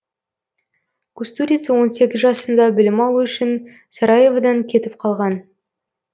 кустурица он сегіз жасында білім алу үшін сараеводан кетіп қалған